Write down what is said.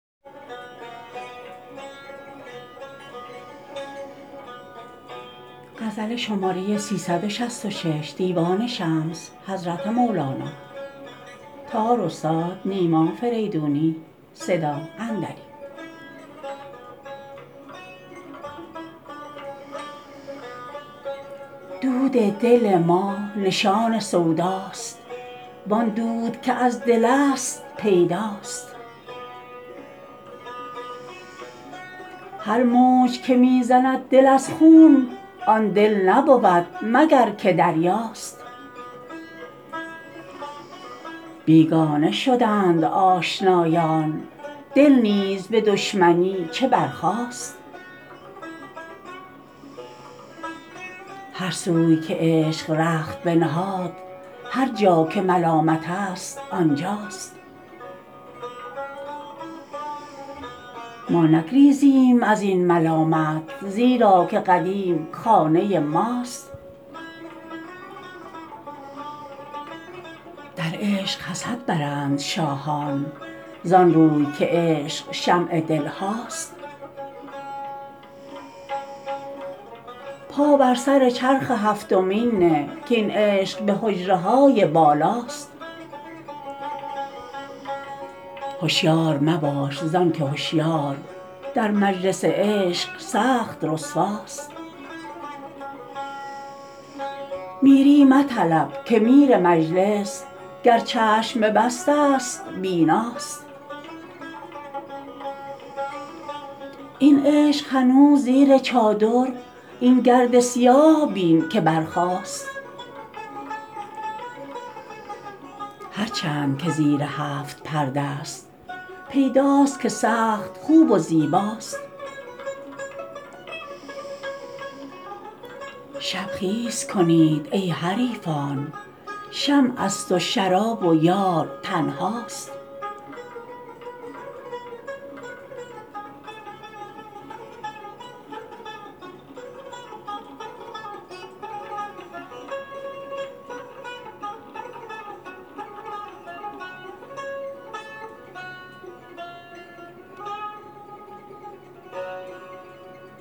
دود دل ما نشان سوداست وان دود که از دلست پیداست هر موج که می زند دل از خون آن دل نبود مگر که دریاست بیگانه شدند آشنایان دل نیز به دشمنی چه برخاست هر سوی که عشق رخت بنهاد هر جا که ملامت ست آن جاست ما نگریزیم از این ملامت زیرا که قدیم خانه ماست در عشق حسد برند شاهان زان روی که عشق شمع دل هاست پا بر سر چرخ هفتمین نه کاین عشق به حجره های بالاست هشیار مباش زان که هشیار در مجلس عشق سخت رسواست میری مطلب که میر مجلس گر چشم ببسته ست بیناست این عشق هنوز زیر چادر این گرد سیاه بین که برخاست هر چند که زیر هفت پرده ست پیداست که سخت خوب و زیباست شب خیز کنید ای حریفان شمعست و شراب و یار تنهاست